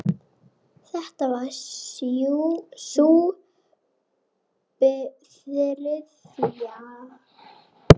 Þetta var sú þriðja.